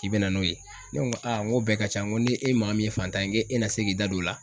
K'i bɛ na n'o ye. Ne ŋo ŋ'o bɛɛ ka ca ŋo ni e maa min ye fantan ye ŋe e na se k'i da don o la?